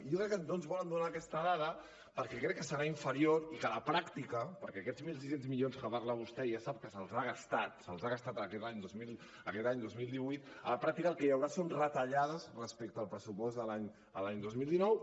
i jo crec que no ens volen donar aquesta dada perquè crec que serà inferior i que a la pràctica perquè aquests mil sis cents milions que parla vostè ja sap que se’ls ha gastat se’ls ha gastat aquest any dos mil divuit el que hi haurà són retallades respecte al pressupost de l’any dos mil divuit